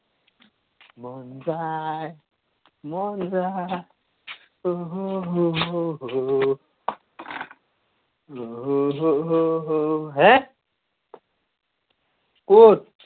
মন যায়। মন যায় অহ' হ' হ' হ' আহ আহ অহ' অহ' হ' হ' হ' হে? ক'ত?